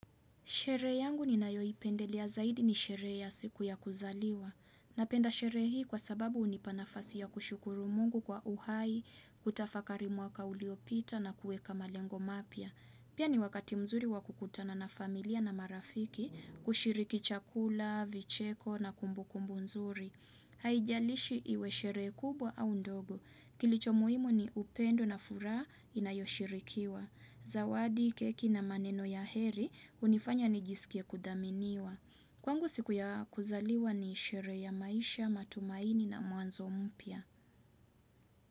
Sherehe yangu ninayoipendelea zaidi ni sherehe ya siku ya kuzaliwa. Napenda sherehe hii kwa sababu hunipa nafasi ya kushukuru mungu kwa uhai, kutafakari mwaka uliopita na kueka malengo mapya. Pia ni wakati mzuri wakukutana na familia na marafiki kushiriki chakula, vicheko na kumbukumbu nzuri. Haijalishi iwe sherehe kubwa au ndogo. Kilicho muhimu ni upendo na furaha inayoshirikiwa. Zawadi, keki na maneno ya heri hunifanya nijisikie kudhaminiwa. Kwangu siku ya kuzaliwa ni sherehe ya maisha, matumaini na mwanzo mpya.